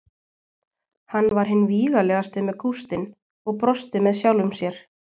Hann var hinn vígalegasti með kústinn og brosti með sjálfum sér.